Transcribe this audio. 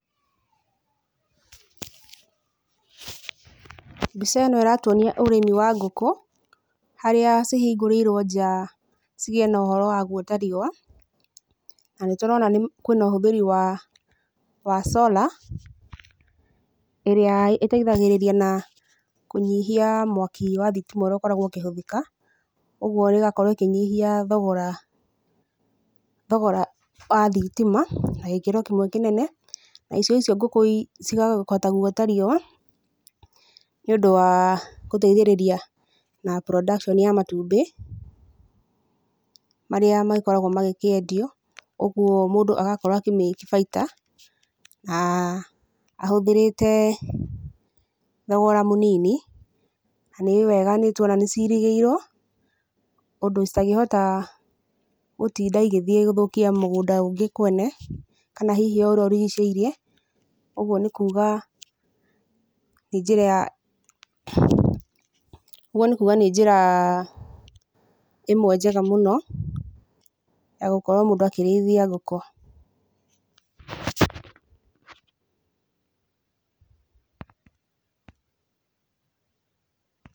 Mbica ĩno ĩratwonia ũrĩmi wa ngũkũ, harĩa cihingũrĩirwo nja cigiĩ na ũhoro wa gwota riũa. Na nĩ tũrona kwĩ na ũhũthĩri wa solar, ĩrĩa ĩteithagĩrĩria na kũnyihia mwaki wa thitima ũrĩa ũkoragwo ũkĩhũthĩka. Ũguo ĩgakorwo ĩkĩnyihia thogora wa thitima na gĩkĩro kĩmwe kĩnene. Nacio icio ngũkũ cikahota gwota riũa nĩ ũndũ wa gũteithĩrĩria na production ya matumbĩ marĩa magĩkoragwo magĩkĩendio, ũguo mũndũ agakorwo akĩ make bainda ahũthĩrĩte thogora mũnini. Na nĩ wega nĩ tũrona nĩ cirigĩirwo ũndũ citangĩhota gũtinda igĩthiĩ gũthũkia mũgũnda ũngĩ kwene, kana o hihi ũrĩa ũrigicĩirie. Ũguo nĩ kuuga nĩ njĩra ĩmwe njega mũno ya gũkorwo mũndũ akĩrĩithia ngũkũ.